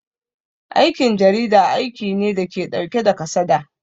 Aikin jarida aiki ne dake ɗauke da kasada